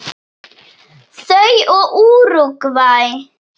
Þau og Úrúgvæ.